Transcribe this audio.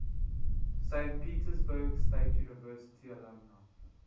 saint petersburg state university alumni